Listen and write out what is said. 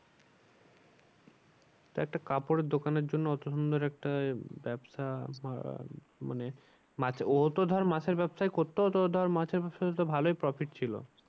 তা একটা কাপড়ের দোকানের জন্য অত সুন্দর একটা ব্যবসা বা মানে মাছ ও তো ধর মাছের ব্যবসাই করতো তো ধর মাছের ব্যবসাতে তো ভালোই profit ছিল।